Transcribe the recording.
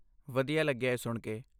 ਵਧੀਆ ਲੱਗਿਆ ਇਹ ਸੁਣਕੇ।